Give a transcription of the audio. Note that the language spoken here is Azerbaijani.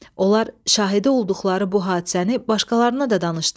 Onlar şahidi olduqları bu hadisəni başqalarına da danışdılar.